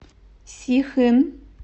сихын